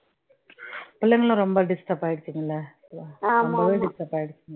பிள்ளைங்களும் ரொம்ப disturb ஆயிடுச்சுங்க இல்லை ரொம்பவே disturb ஆயிடுச்சுங்க